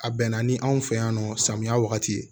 A bɛnna ni anw fɛ yan nɔ samiya wagati ye